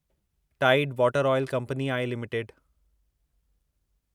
Tide Water oil company I limited